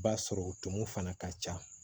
B'a sɔrɔ tumu fana ka ca